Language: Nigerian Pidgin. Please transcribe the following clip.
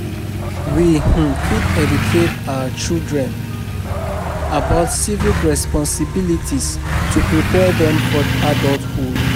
We um fit educate our um children about civic responsibilities to prepare dem for adulthood.